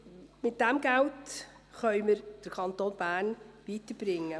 Mit diesem Geld können wir den Kanton Bern weiterbringen.